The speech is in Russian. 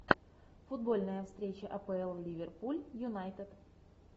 футбольная встреча апл ливерпуль юнайтед